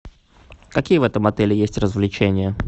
какие в этом отеле есть развлечения